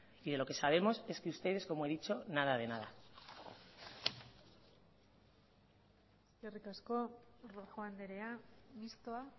y de lo que sabemos es que ustedes como he dicho nada de nada eskerrik asko rojo andrea mistoa